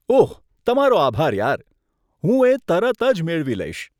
ઓહ તમારો આભાર યાર, હું એ તરત જ મેળવી લઈશ.